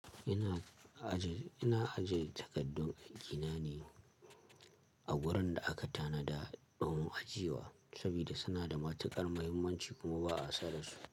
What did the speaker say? Ina aje, takaddun aiki na ne a wurin da aka tanada ɗomin ajiye wa saboda suna da matuƙar muhimmanci kuma ba a sa da su.